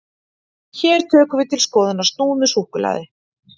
Hér tökum við til skoðunar snúð með súkkulaði.